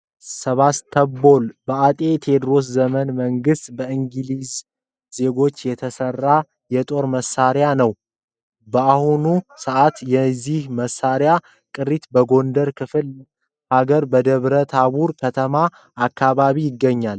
ሰባስ ቶቦል በአጤ ቴዎድሮስ ዘመነ መንግስት በእንግሊዝ ዜጎች የተሰራ የጦር መሳሪያ ነው። በአሁኑ ሰአትም የዚህ መሳሪያ ቅሪት በጎንደር ክፍለ ሀገር በደብረ ታቦር ከተማ አካባቢ ይገኛል።